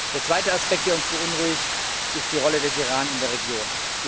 Der zweite Aspekt, der uns beunruhigt, ist die Rolle des Iran in der Region.